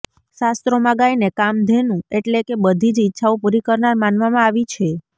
શાસ્ત્રોમાં ગાયને કામધેનુ એટલે કે બધી જ ઈચ્છાઓ પુરી કરનાર માનવામાં આવી છે